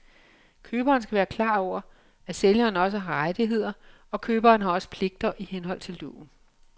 Køberen skal være klar over, at sælgeren også har rettigheder, og køberen har også pligter i henhold til loven.